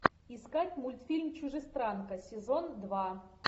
искать мультфильм чужестранка сезон два